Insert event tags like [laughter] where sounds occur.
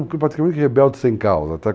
[unintelligible] rebeldes sem causa.